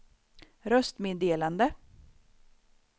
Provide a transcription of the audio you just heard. röstmeddelande